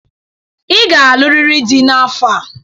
Ị ga-alụrịrị di n'afọ a.